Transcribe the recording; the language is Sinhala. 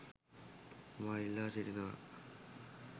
මා ඉල්ලා සිටිනවා.